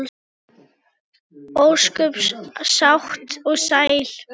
Ósköp sátt og sæl.